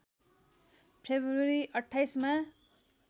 February २८ मा